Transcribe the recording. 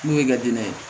N'o y'i ka dinɛ ye